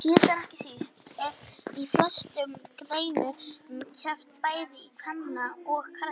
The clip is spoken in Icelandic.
Síðast en ekki síst er í flestum greinum keppt bæði í kvenna og karlaflokki.